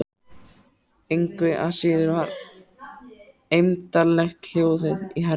Engu að síður var eymdarlegt hljóðið í herra